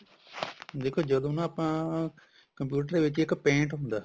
ਦੇਖੋ ਜਦੋਂ ਨਾ ਆਪਾਂ computer ਦੇ ਵਿੱਚ ਨਾ ਇੱਕ paint ਹੁੰਦਾ